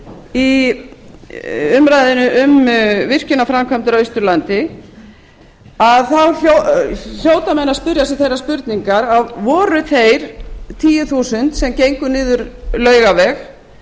í umræðunni um virkjanaframkvæmdir á austurlandi þá hljóta menn að spyrja sig þeirrar spurningar voru þeir tíu þúsund sem gengu niður laugaveg